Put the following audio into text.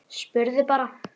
Spurði bara.